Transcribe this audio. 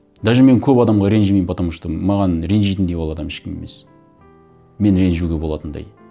даже мен көп адамға ренжімеймін потому что маған ренжитіндей ол адам ешкім емес мен ренжуге болатындай